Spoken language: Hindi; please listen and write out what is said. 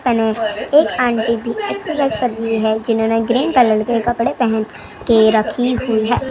आंटी जी एक्सीडेंट कर ली हे जिन्होंने ग्रीन कलर के कपड़े पहन के रखी हुई है।